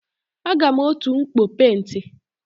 Aga m otu mkpọ penti.